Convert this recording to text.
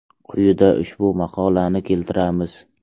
Quyida ushbu maqolani keltiramiz.